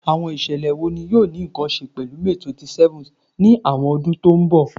Awọn iṣẹlẹ wo ni yoo ni nkan ṣe pẹlu May 27th ni awọn ọdun to nbọ?